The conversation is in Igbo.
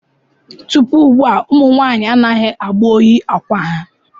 Tupu ugbu a, ụmụ nwanyị anaghị agba oyi akwa ha.